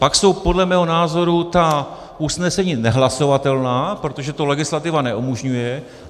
Pak jsou podle mého názoru ta usnesení nehlasovatelná, protože to legislativa neumožňuje.